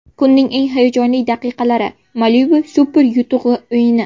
Kunning eng hayajonli daqiqalari – Malibu super yutug‘i o‘yini!